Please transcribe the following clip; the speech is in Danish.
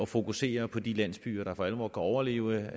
fokuseres på de landsbyer der for alvor kan overleve